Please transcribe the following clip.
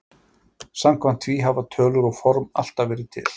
Samkvæmt því hafa tölur og form alltaf verið til.